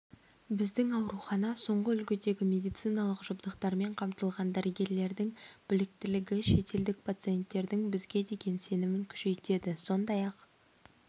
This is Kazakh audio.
біздің аурухана соңғы үлгідегі медициналық жабдықтармен қамтылған дәрігерлердің біліктілігі шетелдік пациенттердің бізге деген сенімін күшейтеді сондай-ақ